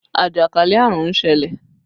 Ajakalẹ̀ àrùn ń ṣẹlẹ̀